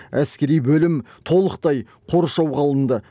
әскери бөлім толықтай қоршауға алынды